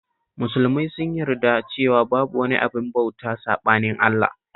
Musulmai sun yarda cewa babu wani abin bauta saɓanin Allah